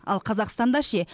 ал қазақстанда ше